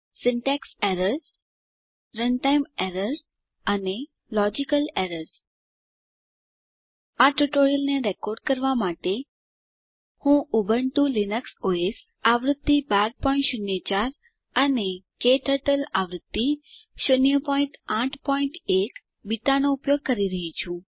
syntax errors runtime errorsઅને logical errors આ ટ્યુટોરીયલને રેકોર્ડ કરવાં માટે હું ઉબુન્ટુ લીનક્સ ઓએસ આવૃત્તિ 1204 અને ક્ટર્ટલ આવૃત્તિ 081 બીટાનો ઉપયોગ રહ્યી છું